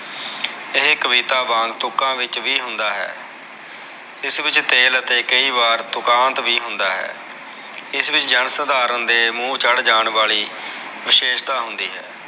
ਇਹ ਕਵਿਤਾ ਵਾਂਗ ਤੁਕਾ ਵਿਚ ਵੀ ਹੁੰਦਾ ਹੈ ਇਸ ਵਿਚ ਤੇਲ ਅਤੇ ਕਈ ਵਾਰ ਤੁਕਾਂਤ ਵੀ ਹੁੰਦਾ ਹੈ ਇਸ ਵਿਚ ਜਾਨ ਸਧਾਰਨ ਦੇ ਮੂਹ ਚੜ ਜਾਨ ਵਾਲੀ ਵਿਸ਼ੇਸਤਾ ਵੀ ਹੁੰਦੀ ਹੈ